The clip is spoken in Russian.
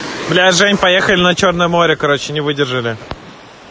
бля жень поехали на чёрное море короче не выдержали